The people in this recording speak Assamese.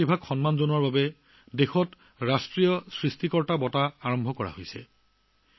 তেওঁলোকৰ প্ৰতিভাক সন্মান জনাই দেশত ৰাষ্ট্ৰীয় সৃষ্টিকৰ্তা বঁটা আৰম্ভ কৰা হৈছে